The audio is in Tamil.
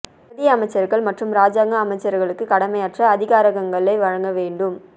பிரதி அமைச்சர்கள் மற்றும் இராஜாங்க அமைச்சர்களுக்கு கடமையாற்ற அதிகாரங்களை வழங்க வேண்டு